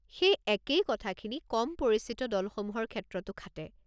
সেই একেই কথাখিনি কম পৰিচিত দলসমূহৰ ক্ষেত্ৰটো খাটে।